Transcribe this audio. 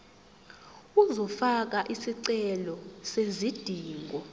uzofaka isicelo sezidingo